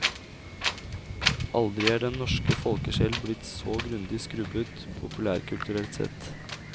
Aldri er den norske folkesjel blitt så grundig skrubbet, populærkulturelt sett.